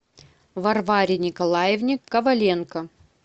варваре николаевне коваленко